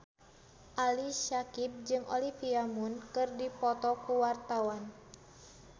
Ali Syakieb jeung Olivia Munn keur dipoto ku wartawan